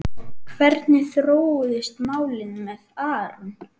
Hvernig þróuðust málin með Aron?